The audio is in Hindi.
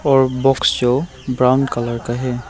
और बॉक्स जो ब्राउन कलर का है।